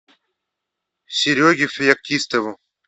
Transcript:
сереге феоктистову